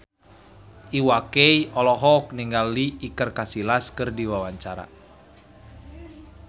Iwa K olohok ningali Iker Casillas keur diwawancara